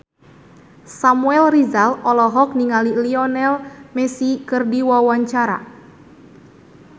Samuel Rizal olohok ningali Lionel Messi keur diwawancara